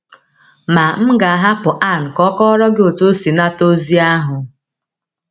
Ma m ga - ahapụ Ann ka ọ kọọrọ gị otú o si nata eziokwu ahụ.